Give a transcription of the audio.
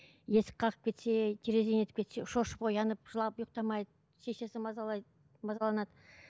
есік қағып кетсе терезені нетіп кетсе шошып оянып жылап ұйықтамайды шешесі мазайлайды мазаланады